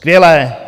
Skvělé!